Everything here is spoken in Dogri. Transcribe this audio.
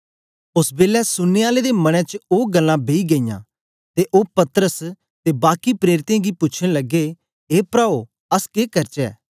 ओस बेलै सुनने आलें दे मनें च ओ गल्लां बेई गेईयां ते ओ पतरस ते बाकी प्रेरितें गी पूछन लगे ए प्राओ अस के करचै